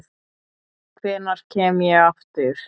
Hvenær kem ég aftur?